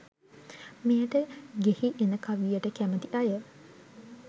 මෙයට ඟෙහි එන කවියට කැමති අය